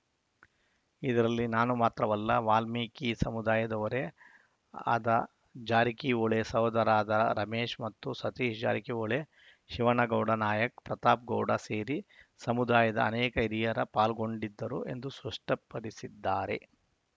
ಇದರಲ್ಲಿ ನಾನು ಮಾತ್ರವಲ್ಲ ವಾಲ್ಮೀಕಿ ಸಮುದಾಯದವರೇ ಆದ ಜಾರಕಿಹೊಳಿ ಸಹೋದರಾದ ರಮೇಶ ಮತ್ತು ಸತೀಶ ಜಾರಕಿಹೊಳಿ ಶಿವನಗೌಡ ನಾಯಕ ಪ್ರತಾಪಗೌಡ ಸೇರಿ ಸಮುದಾಯದ ಅನೇಕ ಹಿರಿಯರ ಪಾಲ್ಗೊಂಡಿದ್ದರು ಎಂದು ಸ್ಪಷ್ಟಪಡಿಸಿದ್ದಾರೆ